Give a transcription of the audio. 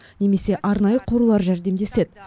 немесе арнайы қорлар жәрдемдеседі